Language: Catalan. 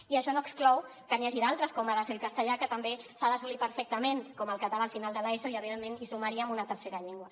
i això no exclou que n’hi hagi d’altres com ha de ser el castellà que també s’ha d’assolir perfectament com el català al final de l’eso i evidentment hi sumaríem una tercera llengua